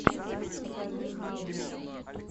покажи гримм